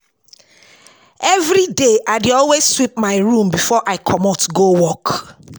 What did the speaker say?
evriday I dey always sweep my room bifor I comot go work